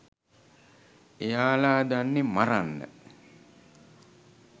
එයාලා දන්නෙ මරන්න